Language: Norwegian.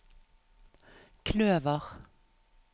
kløver